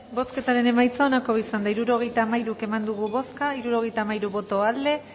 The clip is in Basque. bozketaren emaitza onako izan da hirurogeita hamairu eman dugu bozka hirurogeita hamairu boto aldekoa